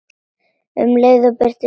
Um leið byggist upp traust.